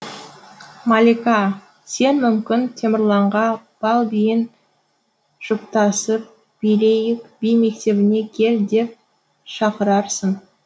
малика сен мүмкін темірланға бал биін жұптасып билейік би мектебіне кел деп шақырарсың